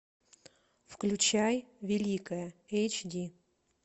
включай великая эйч ди